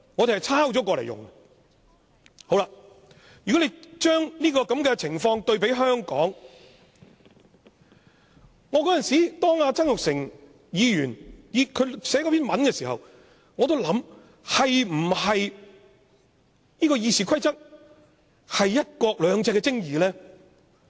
對比香港的情況，當前議員曾鈺成撰寫那篇文章的時候，我曾認真的思考《議事規則》是否"一國兩制"的精義呢？